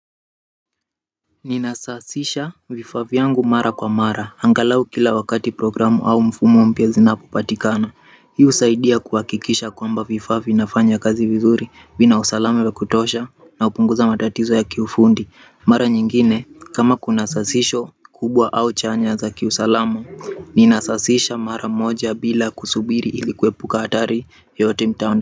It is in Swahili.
Ninasasisha vifaa vyangu mara kwa mara, angalau kila wakati programu au mfumo mpya zinapo patikana hii husaidia kuhakikisha kwamba vifaa vina fanya kazi vizuri vina usalama wa kutosha na hupunguza matatizo ya kiufundi mara nyingine, kama kuna sasisho kubwa au chanya za ki usalama nina sasisha mara moja bila kusubiri ili kuepuka hatari yoyote mtaondaoni.